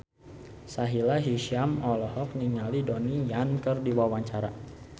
Sahila Hisyam olohok ningali Donnie Yan keur diwawancara